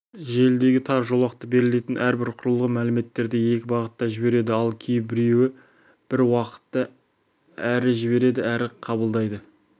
желідегі тар жолақты берілетін әрбір құрылғы мәліметтерді екі бағытта жібереді ал кейбіреуі бір уақытта әрі жібереді әрі қабылдайды